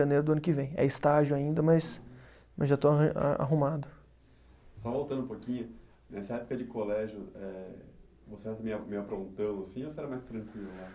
Janeiro do ano que vem. É estágio ainda, mas, mas já estou arran, arrumado. Só voltando um pouquinho, nessa época de colégio, eh você aprontão assim ou você era mais tranquilo lá?